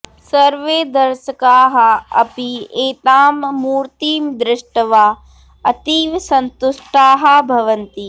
सर्वे दर्शकाः अपि एतां मूर्तिं दृष्ट्वा अतीव सन्तुष्टाः भवन्ति